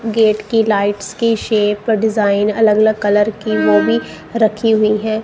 Gate की lights की shape design अलग अलग कलर की वो भी रखी हुई हैं।